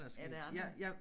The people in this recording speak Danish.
Er der andet?